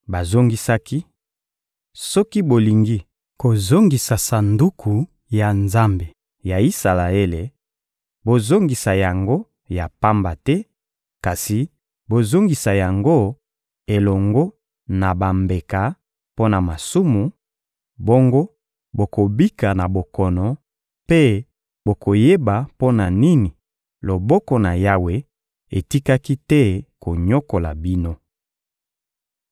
Bazongisaki: — Soki bolingi kozongisa Sanduku ya Nzambe ya Isalaele, bozongisa yango ya pamba te, kasi bozongisa yango elongo na bambeka mpo na masumu; bongo bokobika na bokono, mpe bokoyeba mpo na nini loboko na Yawe etikaki te konyokola bino.